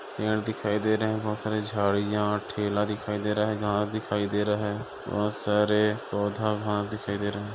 दिखाई दे रहे हैं बहोत सारी झाड़ियां ठेला दिखाई दे रहा है घास दिखाई दे रहा है बहोत सारे पौधा घास दिखाई दे रहा है ।